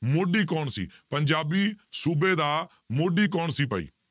ਮੋਢੀ ਕੌਣ ਸੀ, ਪੰਜਾਬੀ ਸੂਬੇ ਦਾ ਮੋਢੀ ਕੌਣ ਸੀ ਭਾਈ?